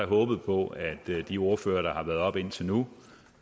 håbet på at de ordførere der har været oppe indtil nu